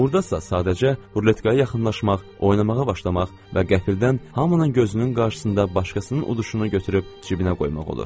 Burdasa sadəcə ruletkaya yaxınlaşmaq, oynamağa başlamaq və qəfildən hamının gözünün qarşısında başqasının uduşunu götürüb cibinə qoymaq olur.